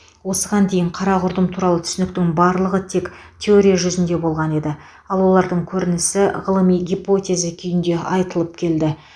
осыған дейін қара құрдым туралы түсініктің барлығы тек теория жүзінде болған еді ал олардың көрінісі ғылыми гипотеза күйінде айтылып келді